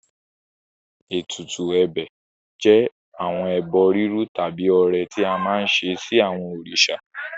Ètùtù ẹ̀bẹ̀ jẹ́ àwọn ẹbọ rírú tàbí ọrẹ tí a máa ń ṣe sí àwọn òrìṣà.